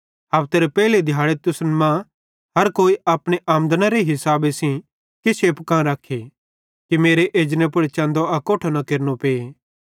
हफतेरे पेइले दिहाड़े तुसन मरां हर कोई अपने आमदनेरे मुताबिक किछ एप्पू कां रखा कि मेरे एजने पुड़ चन्दो अकोट्ठो न केरनो पे